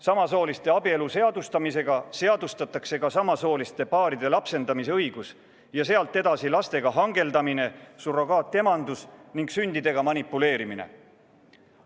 Samasooliste abielu seadustamisega seadustatakse ka samasooliste paaride lapsendamisõigus ja sealt edasi lastega hangeldamine, surrogaatemadus ning sündidega manipuleerimine.